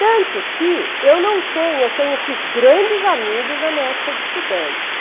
Tanto que eu não tenho eu tenho, eu fiz grandes amigos na minha época de estudante.